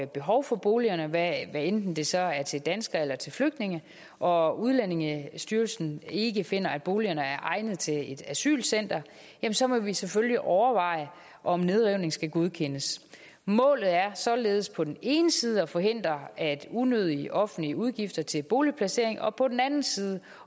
behov for boligerne hvad enten det så er til danskere eller til flygtninge og udlændingestyrelsen ikke finder at boligerne er egnet til et asylcenter så må vi selvfølgelig overveje om nedrivning skal godkendes målet er således på den ene side at forhindre unødige offentlige udgifter til boligplacering og på den anden side